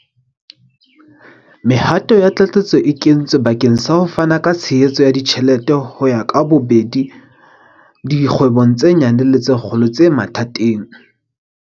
Mehato ya tlatsetso e kentswe bakeng sa ho fana ka tshehetso ya ditjhelete ho ka bobedi dikgwebo tse nyane le tse kgolo tse mathateng.